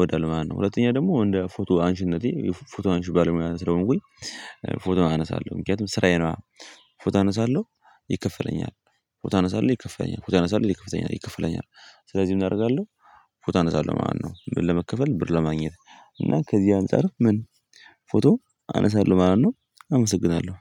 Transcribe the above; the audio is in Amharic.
ወዳለው ማለት ነው። ሁለተኛ ደግሞ እንደ ፎቶ አንሺነቴ የፎቶ አንሺ ባለሙያ ስለሆንኩኝ ፎቶ አነሳለሁ ምክንያቱም ስራዬ ነው። አ ፎቶ አነሳለሁ ይከፈለኛል ፎቶ አነሳለሁ ይከፈለኛል ፎታ አነሳለሁ ይከፈለኛል ይከፈለኛል ስለዚህ ምን አደርጋለው? ፎቶ አነሳለሁ ማለት ነው። ለመከፈል ብር ለማግኘት እና ከዚህ አንፃር ምን ፎቶ አነሳለሁ ማለት ነው። አመሰግናለሁ።